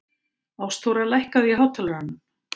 Ástþóra, lækkaðu í hátalaranum.